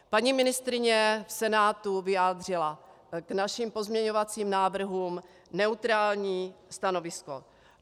Paní ministryně v Senátu vyjádřila k našim pozměňovacím návrhům neutrální stanovisko.